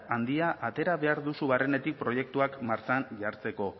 handia atera behar duzu barrenetik proiektuak martxan jartzeko